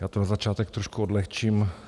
Já to na začátek trošku odlehčím.